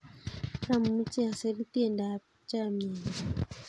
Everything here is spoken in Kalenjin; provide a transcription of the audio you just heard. Amuchi asir tiendap chamyenyo